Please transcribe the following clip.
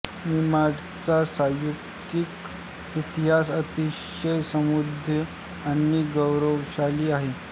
निमाडचा सांस्कृतिक इतिहास अतिशय समृद्ध आणि गौरवशाली आहे